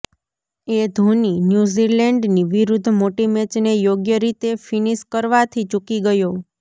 એ ધોની ન્યૂઝીલેન્ડની વિરુદ્ધ મોટી મેચને યોગ્ય રીતે ફિનિશ કરવાથી ચૂકી ગયો